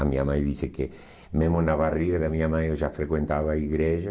A minha mãe disse que, mesmo na barriga da minha mãe, eu já frequentava a igreja.